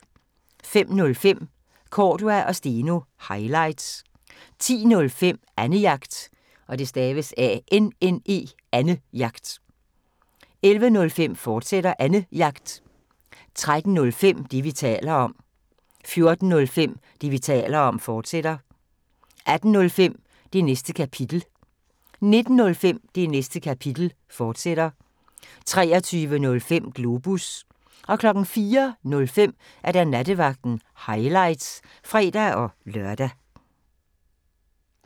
05:05: Cordua & Steno – highlights 10:05: Annejagt 11:05: Annejagt, fortsat 13:05: Det, vi taler om 14:05: Det, vi taler om, fortsat 18:05: Det Næste Kapitel 19:05: Det Næste Kapitel, fortsat 23:05: Globus 04:05: Nattevagten – highlights (fre-lør)